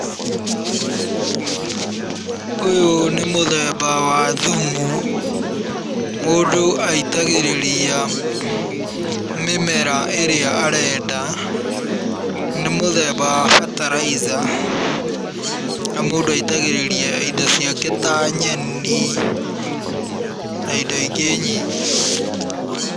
Ũyũ nĩ mũthemba wa thumu. Mũndũ aitagĩrĩria mĩmera ĩrĩa arenda. Ni mũthemba wa fertilizer na mũndũ aitagĩrĩria indo ciake ta nyeni na indo ingĩ nyingĩ.